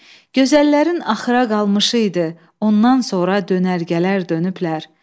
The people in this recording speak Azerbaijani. Gözəllərin axıra qalmışı idi, ondan sonra dönərgələr dönüblər.